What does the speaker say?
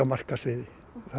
markaðsvirði